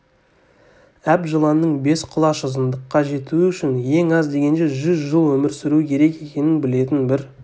әп жыланның бес құлаш ұзындыққа жетуі үшін ең аз дегенде жүз жыл өмір сүруі керек екенін білетін бір